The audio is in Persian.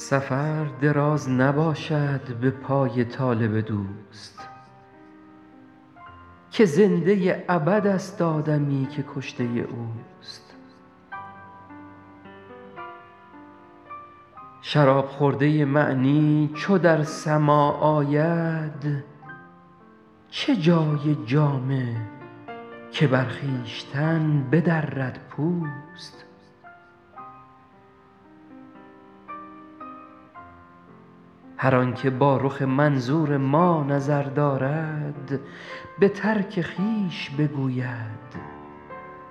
سفر دراز نباشد به پای طالب دوست که زنده ابدست آدمی که کشته اوست شراب خورده معنی چو در سماع آید چه جای جامه که بر خویشتن بدرد پوست هر آن که با رخ منظور ما نظر دارد به ترک خویش بگوید